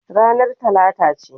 Ranar Talata ce.